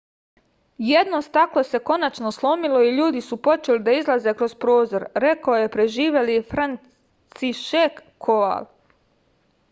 jedno staklo se konačno slomilo i ljudi su počeli da izlaze kroz prozor rekao je preživeli francišek koval